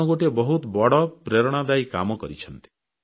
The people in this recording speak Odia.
ଆପଣ ଗୋଟିଏ ବହୁତ ବଡ଼ ପ୍ରେରଣାଦାୟୀ କାମ କରିଛନ୍ତି